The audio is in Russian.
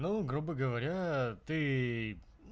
ну грубо говоря ты